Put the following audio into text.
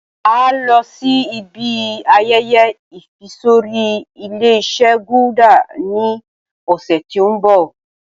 A ó lọ síí ibi ayẹyẹ ìfisorí Ilé-ìṣe "Gulder" ni ọ̀sẹ̀ tí òun bọ̀.